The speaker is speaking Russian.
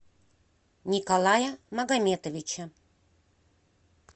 николая магометовича